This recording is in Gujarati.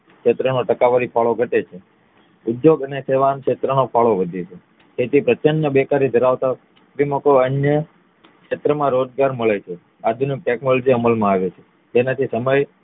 ક્ષેત્ર માં ટકાવારી ફાળો ઘટે છે ઉદ્યોગ અને સેવા ના ક્ષેત્ર માં ફાળો વધે છે તેથી પ્રચ્છન્ન બેકારી ધરાવતા જેમાં કોઈ અન્ય ક્ષેત્ર માં રોજગાર મળે છે આધુનિક ટેકનોલોજી અમલમાં આવે છે જેનાથી સમય